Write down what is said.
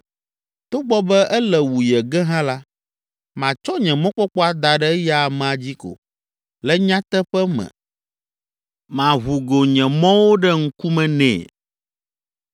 Togbɔ be ele wu ye ge hã la, matsɔ nye mɔkpɔkpɔ ada ɖe eya amea dzi ko. Le nyateƒe me maʋu go nye mɔwo ɖe ŋkume nɛ.